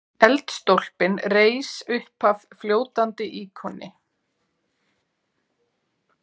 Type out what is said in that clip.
Eldstólpinn reis uppaf fljótandi íkoni.